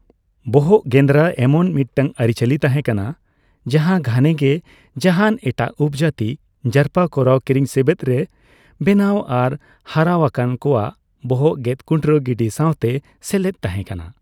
ᱵᱚᱦᱚᱜ ᱜᱮᱸᱫᱽᱨᱟ ᱮᱢᱚᱱ ᱢᱤᱫᱴᱟᱝ ᱟᱹᱨᱤᱼᱪᱟᱹᱞᱤ ᱛᱟᱦᱮᱸ ᱠᱟᱱᱟ ᱡᱟᱦᱟᱸ ᱜᱷᱟᱱᱮ ᱜᱮ ᱡᱟᱦᱟᱸᱱ ᱮᱴᱟᱜ ᱩᱯᱚᱡᱟᱹᱛᱤ ᱡᱟᱨᱯᱟ ᱠᱚᱨᱟᱣ, ᱠᱤᱨᱤᱧᱥᱮᱵᱮᱫ ᱨᱮ ᱵᱮᱱᱟᱣ ᱟᱨ ᱦᱟᱨᱟᱣ ᱟᱠᱟᱱ ᱠᱚᱣᱟᱜ ᱵᱚᱦᱚᱜ ᱜᱮᱫᱠᱩᱴᱨᱟᱹ ᱜᱤᱰᱤ ᱥᱟᱣᱛᱮ ᱥᱮᱞᱮᱫ ᱛᱟᱦᱮᱸ ᱠᱟᱱᱟ ᱾